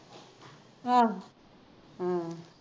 ਆਹੋ